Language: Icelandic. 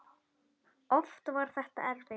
Oft var þetta erfitt.